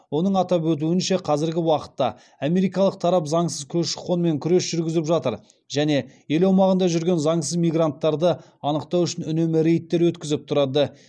оның атап өтуінше қазіргі уақытта америкалық тарап заңсыз көші қонмен күрес жүргізіп жатыр және ел аумағында жүрген заңсыз мигранттарды анықтау үшін үнемі рейдтер өткізіп тұрады